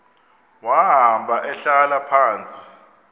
wahamba ehlala phantsi